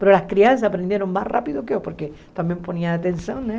Mas as crianças aprenderam mais rápido que eu, porque também põem atenção, né?